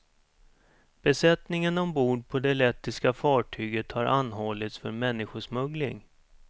Besättningen ombord på det lettiska fartyget har anhållits för människosmuggling.